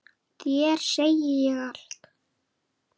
Þér segi ég allt.